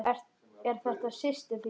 Eru þetta systur þínar?